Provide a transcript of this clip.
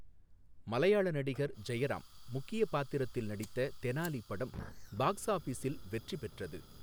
மலையாள நடிகர் ஜெயராம் முக்கியப் பாத்திரத்தில் நடித்த 'தெனாலி' படம், பாக்ஸ் ஆபீஸில் வெற்றி பெற்றது.